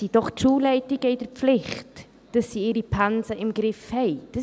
Die Schulleitungen sind doch in der Pflicht, dass sie ihre Pensen im Griff haben.